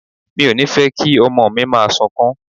Mi ò ní fẹ́ kí ọmọ mi máa sunkún.